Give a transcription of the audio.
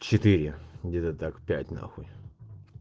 четыре где-то так пять на хуй